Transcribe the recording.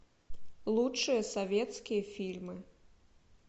лучшие советские фильмы